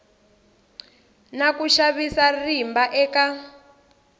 na ku xavisa rimba eka